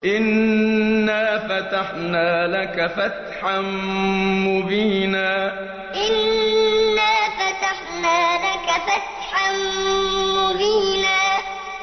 إِنَّا فَتَحْنَا لَكَ فَتْحًا مُّبِينًا إِنَّا فَتَحْنَا لَكَ فَتْحًا مُّبِينًا